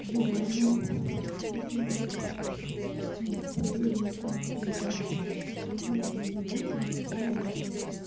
желание все изменить цели личности и так далее ну и в общем как правило это